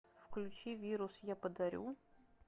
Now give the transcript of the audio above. включи вирус я подарю